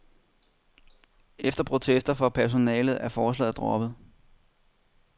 Efter protester fra personalet er forslaget droppet.